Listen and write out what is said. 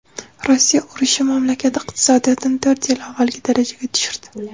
Rossiya urushi mamlakat iqtisodiyotini to‘rt yil avvalgi darajaga tushirdi.